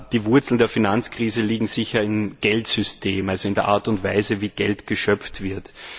Die Wurzeln der Finanzkrise liegen sicher im Geldsystem, also in der Art und Weise, wie Geld geschöpft wird.